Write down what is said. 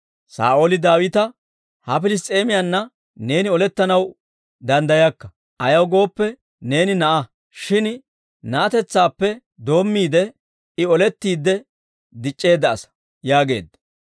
Saa'ooli Daawita, «Ha Piliss's'eemiyanna neeni olettanaw danddayakka; ayaw gooppe, neeni na'aa; shin na'atetsaappe doommiide, I olettiide dic'c'eedda asaa» yaageedda.